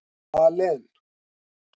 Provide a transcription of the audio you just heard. Malen